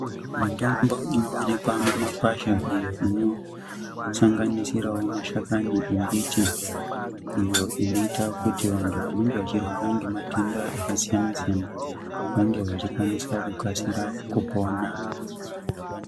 Mutombo inowanikwa mumakwasha iyo inosanganisira mashakani yembiti iyo inoita kuti vanhu wanenge vachirwara ngematenda akasiyana siyana vange wachikwanisa kukasira kupona.